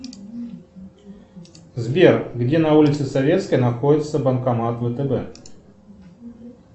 сбер где на улице советская находится банкомат втб